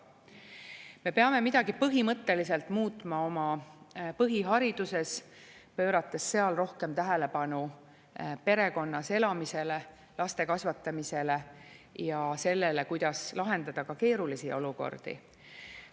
Me peame midagi põhimõtteliselt muutma oma põhihariduses, pöörates seal rohkem tähelepanu perekonnas elamisele, laste kasvatamisele ja sellele, kuidas lahendada ka keerulisi olukordi.